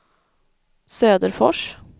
Söderfors